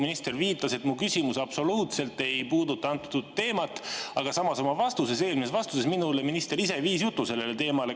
Minister viitas, et mu küsimus absoluutselt ei puuduta teemat, aga samas oma eelmises vastuses minule viis minister ise jutu sellele teemale.